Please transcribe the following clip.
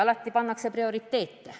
Alati tuleb paika panna prioriteedid.